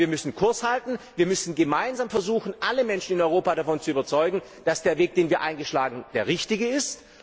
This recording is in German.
Wir müssen Kurs halten, wir müssen gemeinsam versuchen, alle Menschen in Europa davon zu überzeugen, dass der Weg, den wir eingeschlagen haben, der richtige ist.